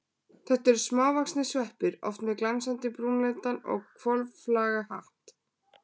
Þetta eru smávaxnir sveppir, oft með glansandi brúnleitan og hvolflaga hatt.